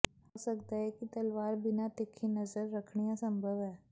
ਹੋ ਸਕਦਾ ਹੈ ਕਿ ਤਲਵਾਰ ਬਿਨਾ ਤਿੱਖੀ ਨਜ਼ਰ ਰੱਖਣੀ ਅਸੰਭਵ ਹੈ